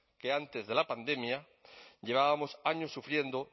que antes de la pandemia llevábamos años sufriendo